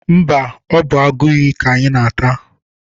Mba, ọ bụ agụiyi ka anyị na-ata.